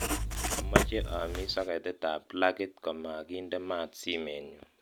amoche amis soketit ab plagit komagiinde maat simeenyun